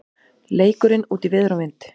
Leikurinn útí veður og vind